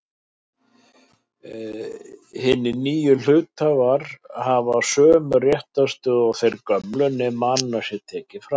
Hinir nýju hluthafar fá sömu réttarstöðu og þeir gömlu nema annað sé tekið fram.